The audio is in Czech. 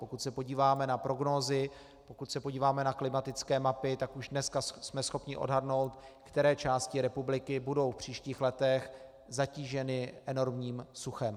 Pokud se podíváme na prognózy, pokud se podíváme na klimatické mapy, tak už dneska jsme schopni odhadnout, které části republiky budou v příštích letech zatíženy enormním suchem.